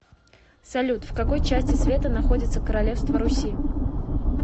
салют в какой части света находится королевство руси